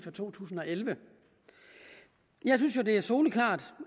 to tusind og elleve jeg synes jo det er soleklart